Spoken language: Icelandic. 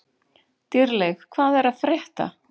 Dýrleif, hvað er að frétta?